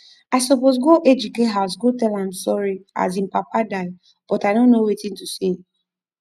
i suppose go ejike house go tell am sorry as im papa die but i no know wetin to say